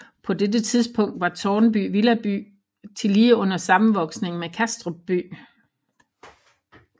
På dette tidspunkt var Tårnby villaby tillige under sammenvoksning med Kastrup by